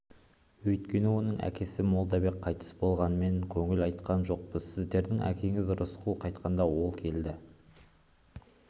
өйткені оның әкесі молдабек қайтыс болған мен көңіл айтқан жоқпын сіздің әкеңіз рысқұл қайтқанда ол көңіл